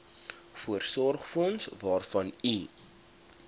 voorsorgsfonds waarvan u